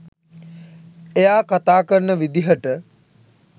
එයා කතා කරන විදිහට.